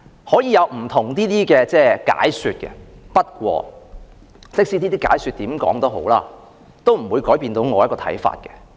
可以有不同的解說，但無論如何亦不會改變我的看法。